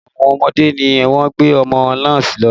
Ẹ̀wọ̀n àwọn ọmọdé ni wọ́n gbé ọmọ náà lọ